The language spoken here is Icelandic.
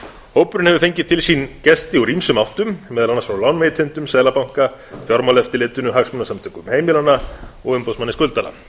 hópurinn hefur fengið til sín gesti úr ýmsum áttum meðal annars frá lánveitendum seðlabanka fjármálaeftirlitinu hagsmunasamtökum heimilanna og umboðsmanni skuldara